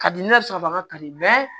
Ka di ne yɛrɛ sɔrɔ ka di